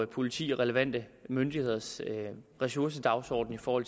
politirelevante myndigheders ressourcedagsorden for